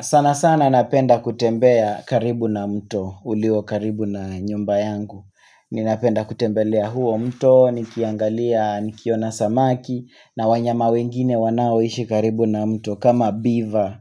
Sana sana napenda kutembea karibu na mto, ulio karibu na nyumba yangu. Ninapenda kutembelea huo mto, nikiangalia, nikiona samaki, na wanyama wengine wanao ishi karibu na mto, kama mbiva.